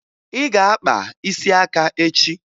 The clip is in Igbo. Ị ga-aga kpaa isi aka echi!